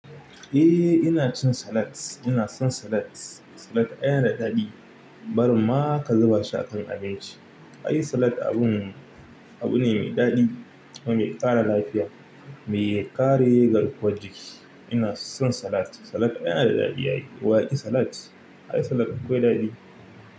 Eh ni ina cin salad, ina son salad. Salad yana da daɗi. Bar ma ka zuba shi a kan abinci. Ai salad abun, abu ne mai daɗi kuma mai ƙara lafiya, mai ƙare yin garkuwar jiki. Ina son salad. Salad yana da daɗi yayi. Wa ya ki salad? Ai salad akwai daɗi.